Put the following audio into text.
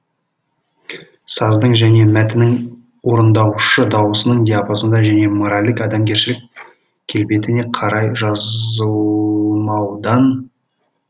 саздың және мәтіннің орындаушы даусының диапазонына және моральдық адамгершілік келбетіне қарай жазылмаудан